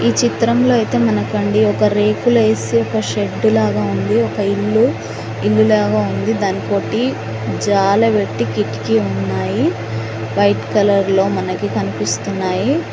ఈ చిత్రం లో అయితే మనకండి ఒక రేకులు ఏసి ఒక షెడ్డు లాగా ఉంది ఒక ఇల్లు ఇల్లు లాగా ఉంది దానికోటి జాలబెట్టి కిటికీ ఉన్నాయి వైట్ కలర్ లో మనకి కనిపిస్తున్నాయి.